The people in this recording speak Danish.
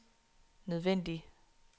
nødvendig